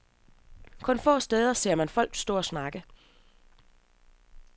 Kun få steder ser man folk stå og snakke.